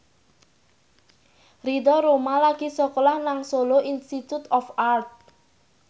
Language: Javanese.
Ridho Roma lagi sekolah nang Solo Institute of Art